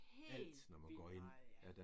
Helt vildt meget ja!